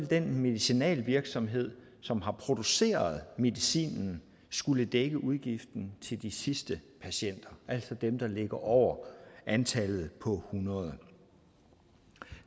den medicinalvirksomhed som har produceret medicinen skulle dække udgiften til de sidste patienter altså dem der ligger over antallet på hundrede